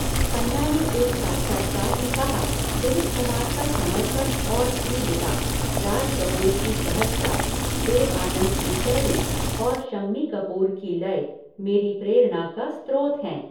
खन्ना ने एक साक्षात्कार में कहा, "दिलीप कुमार का समर्पण और तीव्रता, राज कपूर की सहजता, देव आनंद की शैली और शम्मी कपूर की लय, मेरी प्रेरणा का स्त्रोत हैं।"